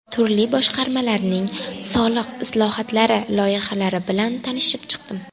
Turli boshqarmalarning soliq islohotlari loyihalari bilan tanishib chiqdim.